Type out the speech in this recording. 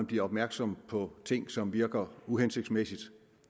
bliver opmærksomme på ting som virker uhensigtsmæssige